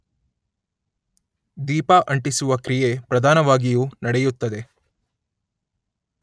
ದೀಪ ಅಂಟಿಸುವ ಕ್ರಿಯೆ ಪ್ರಧಾನವಾಗಿಯೂ ನಡೆಯುತ್ತದೆ